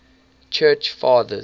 church fathers